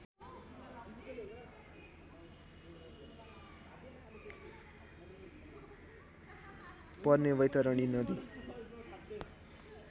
पर्ने वैतरणी नदी